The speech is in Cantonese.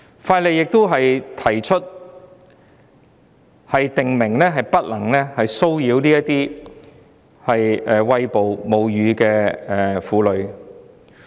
《條例草案》建議訂明不能騷擾餵哺母乳的婦女。